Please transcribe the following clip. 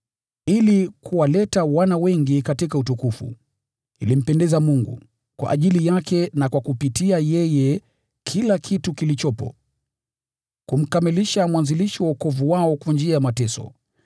Ili kuwaleta wana wengi katika utukufu, ilifaa kwamba Mungu, ambaye ni kwa ajili yake na kupitia kwake kila kitu kimekuwepo, amkamilishe mwanzilishi wa wokovu wao kwa njia ya mateso.